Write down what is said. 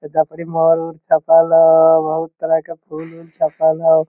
एजा पर इ मॉल बहुत तरह के फूल-उल सटल हेय।